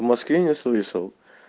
в москве не слышал